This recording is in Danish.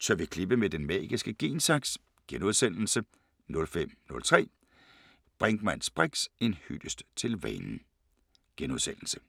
Tør vi klippe med den magiske gen-saks? * 05:03: Brinkmanns briks: En hyldest til vanen *